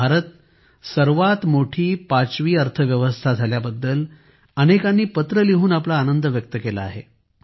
भारत सर्वात मोठी 5 वी अर्थव्यवस्था झाल्याबद्दल अनेकांनी पत्र लिहून आपला आनंद व्यक्त केला आहे